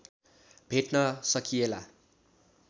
भेट्न सकिएला